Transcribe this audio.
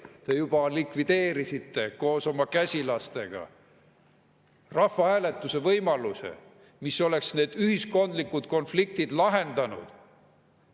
Te juba likvideerisite koos oma käsilastega rahvahääletuse võimaluse, mis oleks need ühiskondlikud konfliktid lahendanud.